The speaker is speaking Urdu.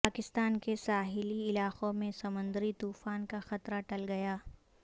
پاکستان کے ساحلی علاقوں میں سمندری طوفان کا خطرہ ٹل گیا